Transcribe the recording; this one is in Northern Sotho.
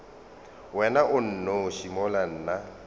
wena o nnoši mola nna